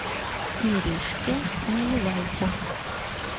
иришке наливайко